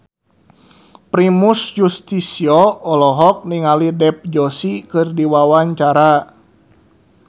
Primus Yustisio olohok ningali Dev Joshi keur diwawancara